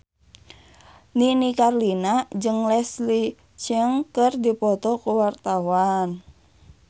Nini Carlina jeung Leslie Cheung keur dipoto ku wartawan